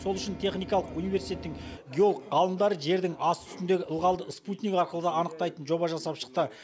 сол үшін техникалық университеттің геолог ғалымдары жердің асты үстіндегі ылғалды спутник арқылы да анықтайтын жоба жасап шықты